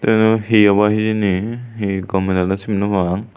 eyun hi obaw hijeni hi gomey daley sin nopang.